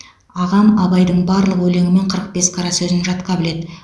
ағам абайдың барлық өлеңі мен қырық бес қара сөзін жатқа біледі